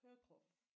Keukenhof